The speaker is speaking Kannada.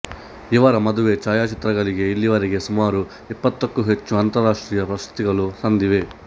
ಇವರ ಮದುವೆ ಛಾಯಚಿತ್ರಗಳಿಗೆ ಇಲ್ಲಿಯವರೆಗೆ ಸುಮಾರು ಇಪ್ಪತ್ತಕ್ಕೂ ಹೆಚ್ಚು ಅಂತರಾಷ್ಟ್ರೀಯ ಪ್ರಶಸ್ತಿಗಳು ಸಂದಿವೆ